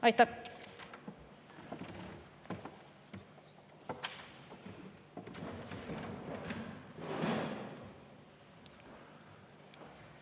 Aitäh!